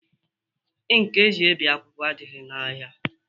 Ịnki eji ebi akwụkwọ adịghị n'ahia